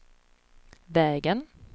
vägen